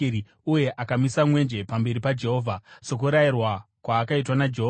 uye akamisa mwenje pamberi paJehovha, sokurayirwa kwaakaitwa naJehovha.